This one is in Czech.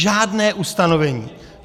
Žádné ustanovení!